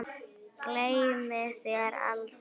Gleymi þér aldrei.